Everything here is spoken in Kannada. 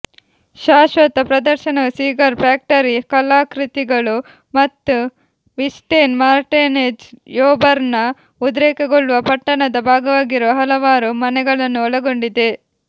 ಶಾಶ್ವತ ಪ್ರದರ್ಶನವು ಸಿಗಾರ್ ಫ್ಯಾಕ್ಟರಿ ಕಲಾಕೃತಿಗಳು ಮತ್ತು ವಿಸ್ಟೆನ್ ಮಾರ್ಟಿನೆಜ್ ಯೋಬರ್ನ ಉದ್ರೇಕಗೊಳ್ಳುವ ಪಟ್ಟಣದ ಭಾಗವಾಗಿರುವ ಹಲವಾರು ಮನೆಗಳನ್ನು ಒಳಗೊಂಡಿದೆ